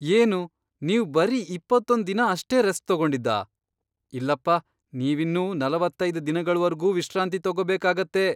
ಏನು, ನೀವ್ ಬರೀ ಇಪ್ಪತ್ತೊಂದ್ ದಿನ ಅಷ್ಟೇ ರೆಸ್ಟ್ ತಗೊಂಡಿದ್ದಾ?! ಇಲ್ಲಪ್ಪ, ನೀವಿನ್ನೂ ನಲವತ್ತೈದ್ ದಿನಗಳ್ವರ್ಗೂ ವಿಶ್ರಾಂತಿ ತಗೊಬೇಕಾಗತ್ತೆ.